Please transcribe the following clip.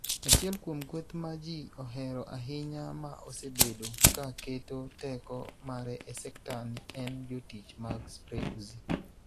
Achiel kuom kweth ma ji ohero ahinya ma osebedo ka keto teko mare e sekta ni en jotich mag Spray Uzi.